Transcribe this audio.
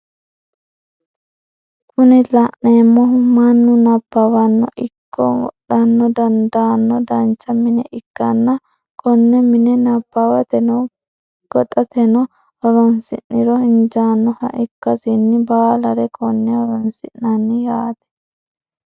Kuni la'neemohu mannu nabawano ikko godhano dandaano dancha mine ikkanna konne mine nabawateno gaxateno horosi'niro injaannoha ikkasinni baalare konne horonsi'nanni yaate.